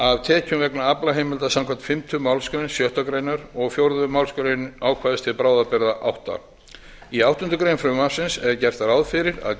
af tekjum vegna aflaheimilda samkvæmt fimmtu málsgrein sjöttu greinar og fjórðu málsgrein ákvæðis til bráðabirgða áttundi í áttundu greinar frumvarpsins er gert ráð fyrir að